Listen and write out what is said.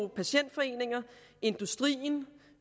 patientforeninger industri